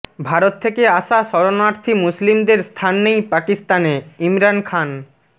ভারত থেকে আসা শরণার্থী মুসলিমদের স্থান নেই পাকিস্তানেঃ ইমরান খান